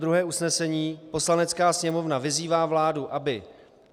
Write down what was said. Druhé usnesení: Poslanecká sněmovna vyzývá vládu, aby